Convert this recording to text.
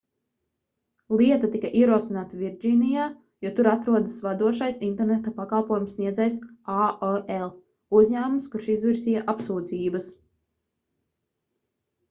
lieta tika ierosināta virdžīnijā jo tur atrodas vadošais interneta pakalpojumu sniedzējs aol - uzņēmums kurš izvirzīja apsūdzības